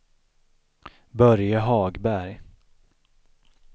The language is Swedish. Börje Hagberg